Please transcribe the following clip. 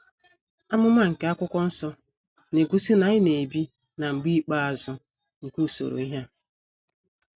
Amụma nke akwụkwọ nsọ na-egosi na anyị na - ebi “ na mgbe ikpeazụ ” nke usoro ihe a.